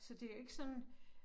Så det jo ikke sådan